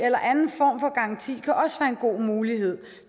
eller anden form for garanti kan også være en god mulighed